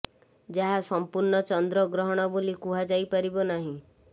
ଯାହା ସମ୍ପୂର୍ଣ୍ଣ ଚନ୍ଦ୍ର ଗ୍ରହଣ ବୋଲି କୁହାଯାଇ ପାରିବ ନାହିଁ